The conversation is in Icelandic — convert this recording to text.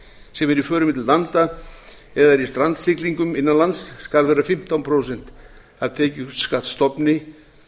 er á förum milli landa eða eru í strandsiglingum innan lands skal vera fimmtán prósent af tekjuskattsstofni